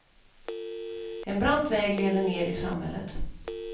En brant väg leder ned i samhället.